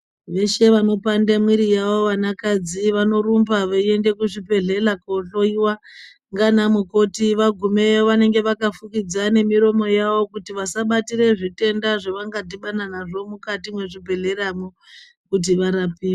Veshe vanopanda mwiri yawo vana kadzi vanorumba veienda kuzvibhedhlera kohloiwa nana mukoti vagumeyo Kuti vasabatira zvitenda zvavanga dhibana nazvo mukati mezvibhedhlera kuti varapiwe.